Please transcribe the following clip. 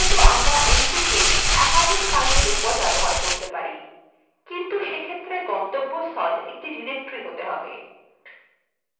cp র মতন আমরা mv cp একাধিক filesএর উপর ব্যবহার করতে পারি কিন্তু সেক্ষেত্রে গন্তব্যস্থল একটি directory হতে হবে